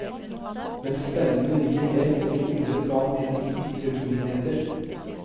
Men spenningen ligger mer på det indre plan enn i ytre begivenheter.